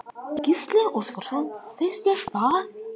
Gísli Óskarsson: Finnst þér það?